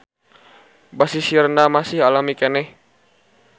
Basisirna masih alami keneh.